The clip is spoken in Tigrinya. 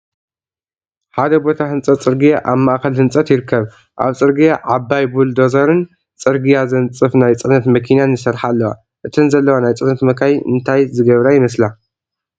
ሓደ ቦታ ህንጸት ጽርግያ ኣብ ማእከል ህንጸት ይርከብ። ኣብ ጽርግያ ዓባይ ቡልዶዘርን ጽርግያ ዘንጽፍ ናይ ጽዕነት መኪናን ይሰርሓ ኣለዋ። እተን ዘለዋ ናይ ጽዕነት መካይን እንታይ ዝገብራ ይመስላ?